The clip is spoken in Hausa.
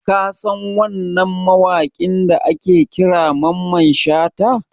Ka san wannan mawaƙin da ake kira Mamman Shata?